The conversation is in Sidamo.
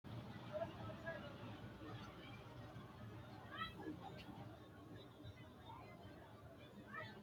Kunni afantino anuwanna gashaano gido mitto ikanna kunni manchi ilesira wodhino uduunichi su'mi maati? Qoleno gidoonni udire nooti udanote danni hiittooho?